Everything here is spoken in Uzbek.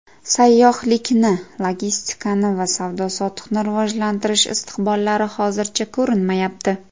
Sayyohlikni, logistikani va savdo-sotiqni rivojlantirish istiqbollari hozircha ko‘rinmayapti.